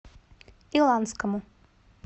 иланскому